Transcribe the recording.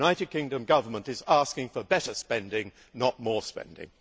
The United Kingdom Government is asking for better spending, not more spending.